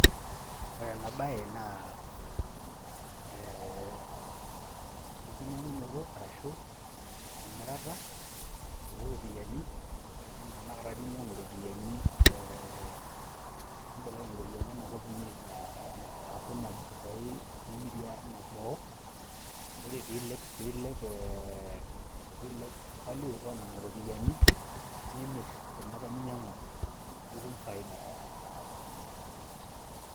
Ore ena baye naa ee enkinyang'unoto arashu emirata o ropiani enaa tenakata ninyang'u ropiani ee nimbelekeny iropiani ena kop inyi aaku ine boo piimirie ine boo, ore piilep piilep ee piilep value o nena ropiani, nimir kuna apa ninyang'ua nitum faida.